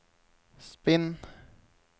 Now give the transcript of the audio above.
spinn